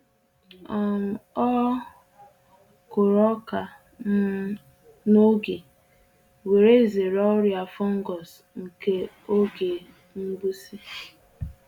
um O kuru oka um n’oge we’re zere ọrịa fungus nke oge mgbụsị.